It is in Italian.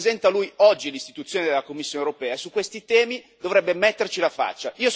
Perché rappresenta lui, oggi, l'istituzione della Commissione europea e su questi temi dovrebbe metterci la faccia.